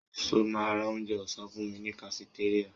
Ṣo ma ra onjẹ ọ̀sán fúnmi ní kafitéríà?